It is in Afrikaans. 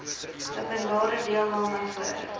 openbare deelname voor